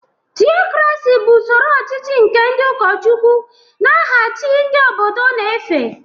Theocracy bụ usoro ọchịchị nke ndị ụkọchukwu n’aha chi ndị obodo na-efe.